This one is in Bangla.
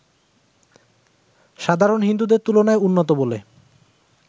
সাধারণ হিন্দুদের তুলনায় উন্নত বলে